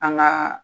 An ka